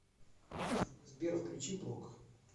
сбер включи блок